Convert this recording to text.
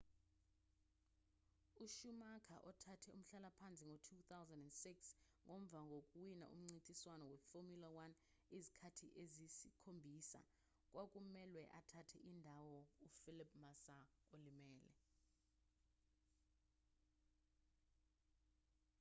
ushumacher othathe umhlalaphansi ngo-2006 ngomva kokuwina umncintiswano weformula 1 izikhathi eziyisikhombisa kwakumelwe athathele indawo ufelipe massa olimele